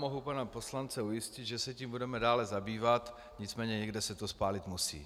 Mohu pana poslance ujistit, že se tím budeme dále zabývat, nicméně někde se to spálit musí.